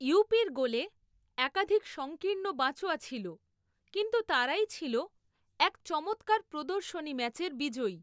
ইউপির গোলে একাধিক সঙ্কীর্ণ বাঁচোয়া ছিল, কিন্তু তারাই ছিল এক চমৎকার প্রদর্শনী ম্যাচের বিজয়ী।